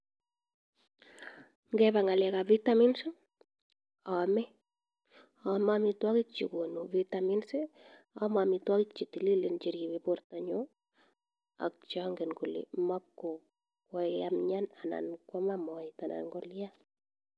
Ngepa ng'alek ap vitamins i, aame. Aame amitwogik che konu vitamins i,aame amitwogik che tililen che ripei poryonyun i, ak che angen ale makoae amian anan ko ama moet anan kolian.